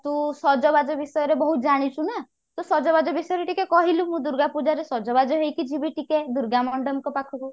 ତୁ ସଜବାଜ ବିଷୟରେ ବହୁତ ଜାଣିଛୁ ନା ତ ସଜବାଜ ବିଷୟରେ ଟିକେ କହିଲୁ ମୁଁ ଦୂର୍ଗାପୂଜାରେ ସଜବାଜ ହେଇକି ଯିବି ଟିକେ ଦୂର୍ଗା ମଣ୍ଡପଙ୍କ ପାଖକୁ